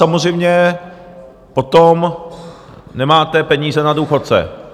Samozřejmě potom nemáte peníze na důchodce.